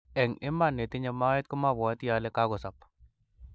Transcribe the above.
eng iman, netinye moet komapwati ale kakosop